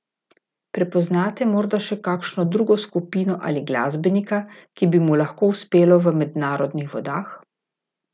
Prepoznate morda še kakšno drugo skupino ali glasbenika, ki bi mu lahko uspelo v mednarodnih vodah?